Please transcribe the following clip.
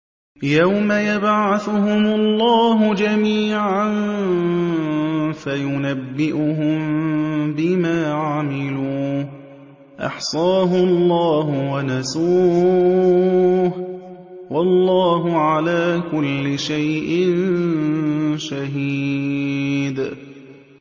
يَوْمَ يَبْعَثُهُمُ اللَّهُ جَمِيعًا فَيُنَبِّئُهُم بِمَا عَمِلُوا ۚ أَحْصَاهُ اللَّهُ وَنَسُوهُ ۚ وَاللَّهُ عَلَىٰ كُلِّ شَيْءٍ شَهِيدٌ